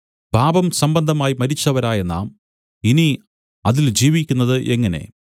പാപസംബന്ധമായി മരിച്ചവരായ നാം ഇനി അതിൽ ജീവിക്കുന്നത് എങ്ങനെ